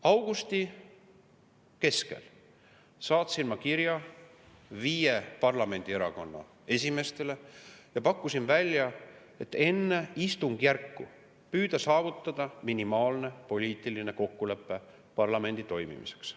Augusti keskel saatsin ma kirja viie parlamendierakonna esimeestele ja pakkusin välja püüda enne istungjärku saavutada minimaalne poliitiline kokkulepe parlamendi toimimiseks.